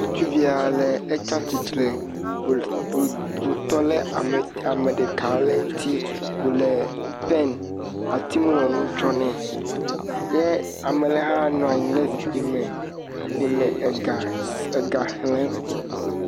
Ŋutsuvi aɖe etia titre wòtɔ ɖe ame ɖeka aɖe ŋti wòle pɛn atiŋlɔnu tsɔm nɛ ye ame aɖe ha nɔ anyi ɖe zikpui me wòle ega xlem